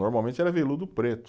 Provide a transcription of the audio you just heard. Normalmente era veludo preto.